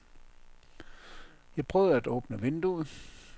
Jeg prøvede at åbne vinduet.